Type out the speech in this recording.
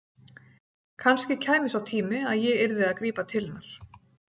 Kannski kæmi sá tími að ég yrði að grípa til hennar.